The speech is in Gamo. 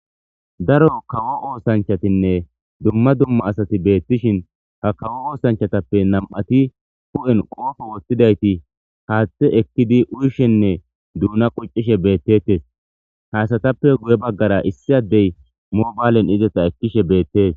daro kawo oosanchatinne dumma dumma asati beettishin ha kawo oosanchatappe nam7ati hu7en qoofo woththidayti haaththe ekkidi uyshenne duuna qoccishe beettettes haasatappe guye baggara issi addey moobaalen izeta ekkishe beettees